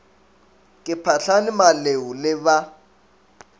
ke phahlane maleu le ba